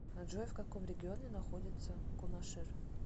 джой в каком регионе находится кунашир